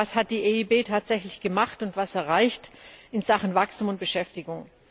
Aber was hat die EIB tatsächlich gemacht und was hat sie erreicht in Sachen Wachstum und Beschäftigung?